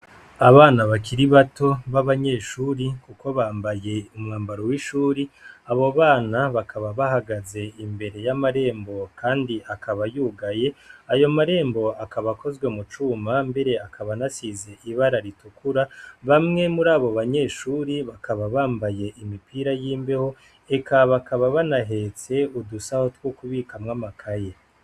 Abana bakiri bato ba banyeshure kuko bambaye umwambaro w'ishuri, abo bana bakaba bahagaze imbere yamarembo kandi akaba yugaye, ayo marembo akaba akozwe mucuma mbere akaba anasize ibara ritukura, bamwe murabo banyeshure bakaba bambaye imipira yimbeho eka bakaba banahetse udusaho two kubikamwo amakaye.